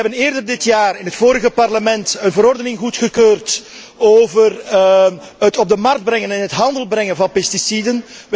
Wij hebben eerder dit jaar in het vorige parlement een verordening goedgekeurd over het op de markt brengen en in de handel brengen van pesticiden.